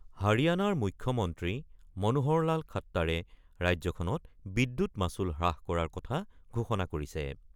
হাৰিয়ানাৰ মুখ্যমন্ত্ৰী মনোহৰলাল খাট্টাৰে ৰাজ্যখনত বিদ্যুৎ মাচুল হ্ৰাস কৰাৰ কথা ঘোষণা কৰিছে।